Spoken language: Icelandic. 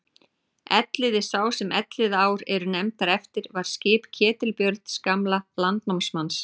Elliði sá sem Elliðaár eru nefndar eftir var skip Ketilbjörns gamla landnámsmanns.